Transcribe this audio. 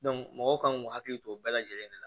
mɔgɔw kan k'u hakili to o bɛɛ lajɛlen de la